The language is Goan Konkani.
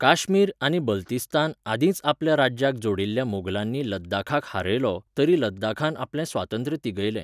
काश्मीर आनी बल्तिस्तान आदींच आपल्या राज्याक जोडिल्ल्या मोगलांनी लद्दाखाक हारयलो, तरी लद्दाखान आपलें स्वातंत्र्य तिगयलें.